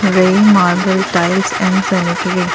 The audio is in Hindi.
रेयी मार्बल टाइल्स एंड सेनेटरी ।